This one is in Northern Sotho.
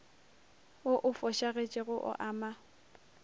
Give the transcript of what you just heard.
wo o fošagetšego o ama